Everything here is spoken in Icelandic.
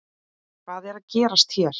Hvað er að gerast hér?